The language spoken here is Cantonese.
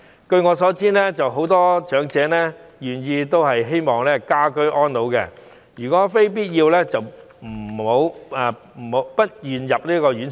據我所知，很多長者都希望可以居家安老，如非必要也不願意入住院舍。